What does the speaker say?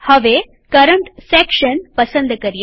હવે current section પસંદ કરીએ